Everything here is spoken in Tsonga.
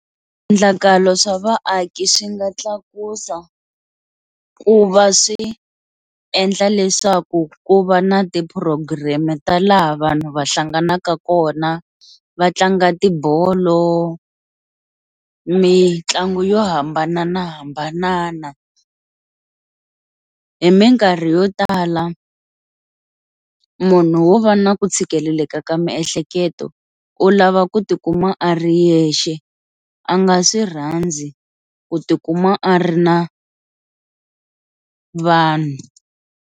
Swiendlakalo swa vaaki swi nga tlakusa ku va swi endla leswaku ku va na ti-program ta laha vanhu va hlanganaka kona va tlanga tibolo mitlangu yo hambananahambanana, hi minkarhi yo tala munhu wo va na ku tshikeleleka ka ya miehleketo u lava ku tikuma a ri yexe a nga swi rhandzi ku tikuma a ri na vanhu.